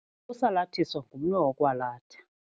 Usalathiso ngumnwe wokwalatha.